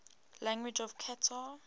languages of qatar